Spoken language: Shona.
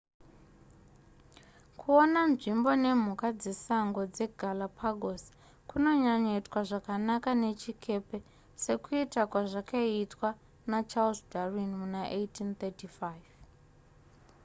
kuona nzvimbo nemhuka dzesango dzepagalapagos kunonyanyoitika zvakanaka nechikepe sekuita kwazvakaitwa nacharles darwin muna 1835